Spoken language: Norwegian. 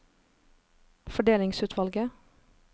fordelingsutvalget